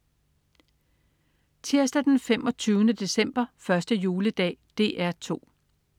Tirsdag den 25. december. 1. juledag - DR 2: